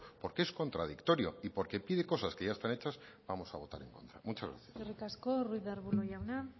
porque es contradictorio y porque pide cosas que ya están hechas vamos a votar en contra muchas gracias eskerrik asko ruiz de arbulo jauna